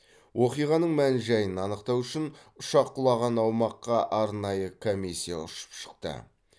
оқиғаның мән жайын анықтау үшін ұшақ құлаған аумаққа арнайы комиссия ұшып шықты